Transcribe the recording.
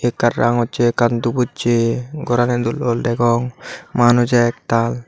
ekkan rangochi ekkan dubuchi gorani dol dol degong manuj ek tal.